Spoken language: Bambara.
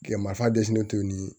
Gɛlɛmaf'a dɛsɛlen to